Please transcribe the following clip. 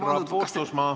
Härra Puustusmaa!